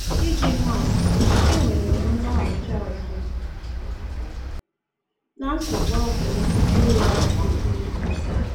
Iji maa atụ, e nwere m nlọghachi azụ na nsogbu ọgwụ m nke were ọtụtụ izu.